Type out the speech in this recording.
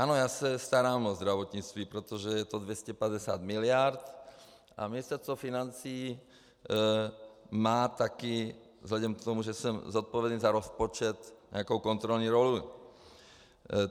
Ano, já se starám o zdravotnictví, protože je to 250 miliard, a Ministerstvo financí má také vzhledem k tomu, že jsem zodpovědný za rozpočet, nějakou kontrolní roli.